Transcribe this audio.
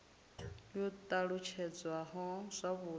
yo t alutshedzwaho zwavhud i